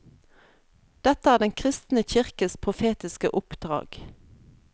Dette er den kristne kirkes profetiske oppdrag.